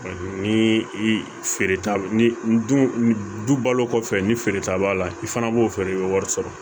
ni i feere t'a ni dun du balo kɔfɛ ni feere ta b'a la i fana b'o feere i bɛ wari sɔrɔ